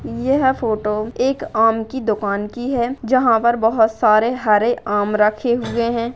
यह फोटो एक आम की दुकान की है जहाँ बहुत सारे हरे आम रखें हुए हैं।